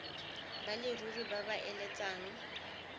ba leruri ba ba eletsang